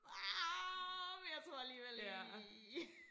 Ah jeg tror alligevel lige